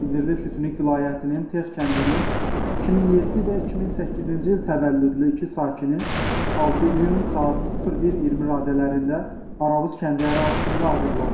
Bildirilir ki, Süniq vilayətinin Tex kəndinin 2007 və 2008-ci il təvəllüdlü iki sakini 6 iyun saat 01:20 radələrində Aravuz kəndi ərazisində azıblar.